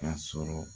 Ka sɔrɔ